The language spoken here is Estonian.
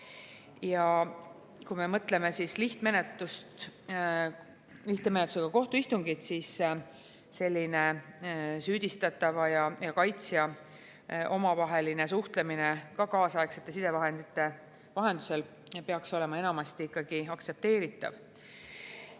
Ja kui tegu on lihtmenetlusega, siis süüdistatava ja kaitsja omavaheline suhtlemine kohtuistungil kaasaegsete sidevahendite vahendusel peaks olema enamasti aktsepteeritav.